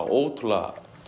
ótrúlega